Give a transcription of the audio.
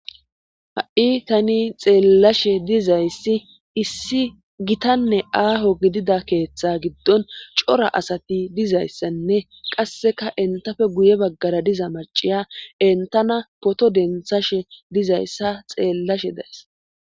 Ha7i tani xeellashe dizayssi issi gitanne aaho gidida keeththa giddon cora asati dizayssanne qasseka entafe guye baggara diza maciya entana poto densashe dizayssa xeellashe dees.